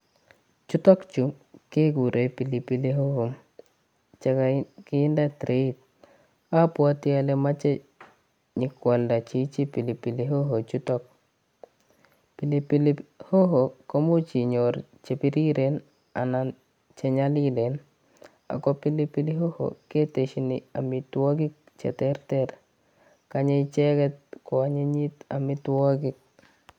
Chutok chuu kekuren pilipili hoho chekokinde tireit, abwoti ole moche nyo kwalda chichi pilipili hoho chuto. Pilipili hoho komuch inyoru chenyolilen anan ko chebiriren ako pilipili hoho ketesyin amitwogik cheterter. Chobe icheget koanyinyit amitwogik